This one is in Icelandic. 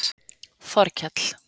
Þorkell